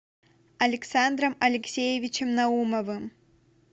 александром алексеевичем наумовым